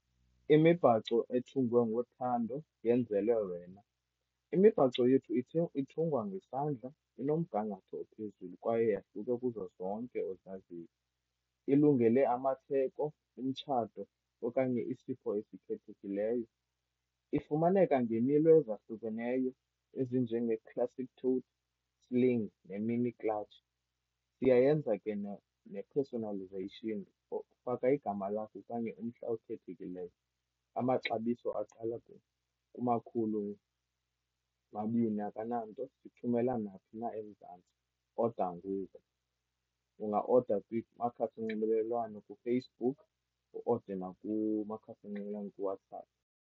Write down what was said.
Imibhaco ethungwe ngothando yenzelwe wena. Imibhaco yethu ithungwa ngesandla, inomgangatho ophezulu kwaye yahluke kuzo zonke ozaziyo. Ilungele amatheko, umtshato okanye isipho esikhethekileyo. Ifumaneka ngeemilo ezahlukeneyo ezinjenge-classic sling ne-mini clutch. Siyayenza ke ne-personalisation. Faka igama lakho okanye umhla okhethekileyo. Amaxabiso aqala kumakhulu mabini akananto. Thumela naphi na eMzantsi. Oda ngoku, ungaoda kumakhasi onxibelelwano, kuFacebook, uode nakumakhasi onxibelelwano kuWhatsApp.